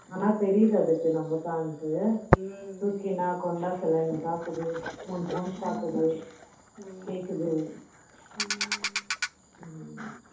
ஆனா தெரியுது அதுக்கு நம்மதான்ட்டு ம்ம தூக்கி நான் கொண்ட சில என்ன பாக்குது மூஞ்சி மூஞ்சி பாக்குது கேக்குது